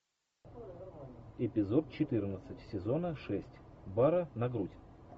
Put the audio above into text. эпизод четырнадцать сезона шесть бара на грудь